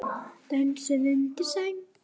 Dösuð undir sæng.